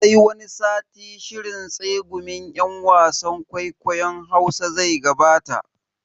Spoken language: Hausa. Sai wani satin shirin tsegumin yan wasan kwaikwayon Hausa zai gabata.